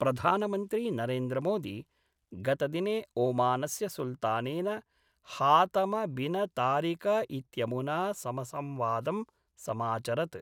प्रधानमन्त्री नरेन्द्र मोदी गतदिने ओमानस्य सुल्तानेन हातम बिन तारिक इत्यमुना समसंवादं समाचरत्।